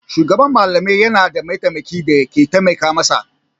Shugaban malamai yana da mataimaki da ke taimaka masa.